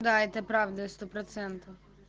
да это правда